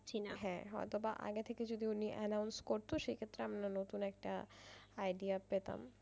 হ্যাঁ অথবা আগে থেকে যদি উনি announce করতো সেক্ষেত্রে আমরা নতুন একটা idea পেতাম।